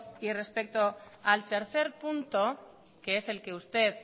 y respecto al tercer punto que es el que usted